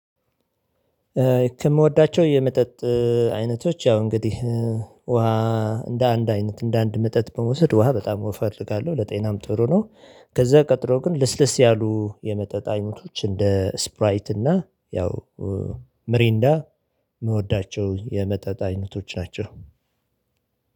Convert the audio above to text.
ከምወዳቸው የመጠጥ አይነቶች ያው እንግዲህ ውሃ እንደ አንድ አይነት እንደ አንድ መጠጥ ብንወስድ ውሃ በጣም እፈልጋለሁ ለጤናም ጥሩ ነው። ከዚያ ቀጥሎ ግን ልስልስ ያሉ የመጠጥ አይነቶች እንደ ስፕራይት እና ያው ምሬንዳ የምወዳቸው የመጠጥ አይነቶች ናቸው።